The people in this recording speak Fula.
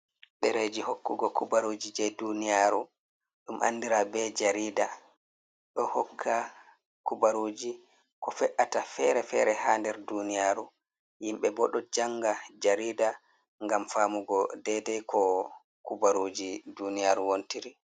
Ɗereji hokkugo kubaruji je duniyaru ɗum andira be jarida, ɗo hokka kubaruji ko fe’ata fere-fere ha nder duniyaru, yimbe ɓo ɗo janga jarida ngam famugo dedai ko kubaruji duniyaru wontiri.